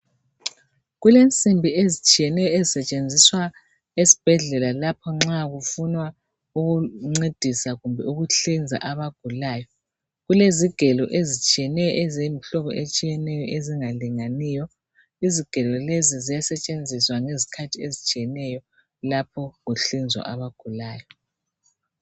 Kulensimbi ezitshiyeneyo ezisetshenziswa esibhedlela lapho nxa kufunwa ukuncedisa kumbe ukuhlinza abagulayo. Kulezigelo ezitshiyeneyo eziyimhlobo etshiyeneyo engalinganiyo. Izigelo lezi ziyasetshenziswa ngezikhathi ezitshiyeneyo lapho kuhlinzwa abagulayo.